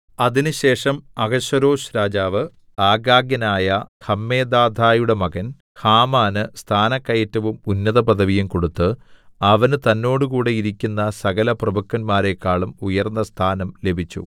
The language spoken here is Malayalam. അതിനുശേഷം അഹശ്വേരോശ്‌ രാജാവ് ആഗാഗ്യനായ ഹമ്മെദാഥയുടെ മകൻ ഹാമാന് സ്ഥാനക്കയറ്റവും ഉന്നതപദവിയും കൊടുത്ത് അവന് തന്നോടുകൂടെ ഇരിക്കുന്ന സകലപ്രഭുക്കന്മാരെക്കാളും ഉയർന്ന സ്ഥാനം ലഭിച്ചു